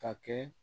Ka kɛ